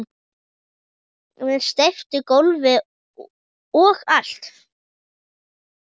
Með steyptu gólfi og allt